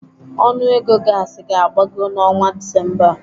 Ọnụego gaasi ga-agbago n'ọnwa Disemba a.